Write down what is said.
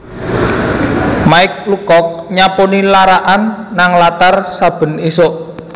Mike Lucock nyaponi lara'an nang latar saben isuk